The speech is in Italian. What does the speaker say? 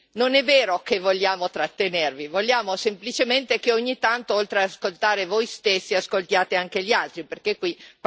vogliamo semplicemente che ogni tanto oltre ad ascoltare voi stessi, ascoltiate anche gli altri, perché qui praticamente non avete fatto che ascoltarvi.